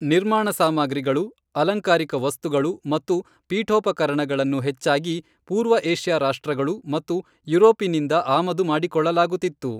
ನಿರ್ಮಾಣ ಸಾಮಗ್ರಿಗಳು, ಅಲಂಕಾರಿಕ ವಸ್ತುಗಳು ಮತ್ತು ಪೀಠೋಪಕರಣಗಳನ್ನು ಹೆಚ್ಚಾಗಿ ಪೂರ್ವ ಏಷ್ಯಾ ರಾಷ್ಟ್ರಗಳು ಮತ್ತು ಯುರೋಪಿನಿಂದ ಆಮದು ಮಾಡಿಕೊಳ್ಳಲಾಗುತ್ತಿತ್ತು.